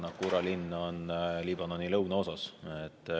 Naqoura linn on Liibanoni lõunaosas.